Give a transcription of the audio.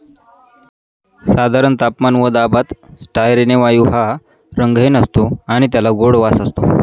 साधारण तापमान व दाबात स्टायरेने वायू हा रंगहीन असतो आणि त्याला गोड वास असतो.